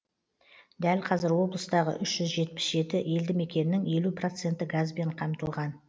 дәл қазір облыстағы үш жүз жетпіс жеті елді мекеннің елу проценті газбен қамтылған